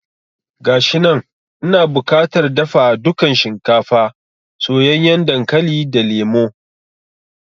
Gashinan, ina bukatar dafa dukan shinkafa, soyayyen dankali da lemo